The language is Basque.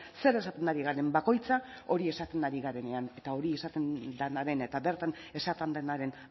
zer esaten ari garen bakoitza hori esaten ari garenean eta hori esaten denaren eta bertan esaten denaren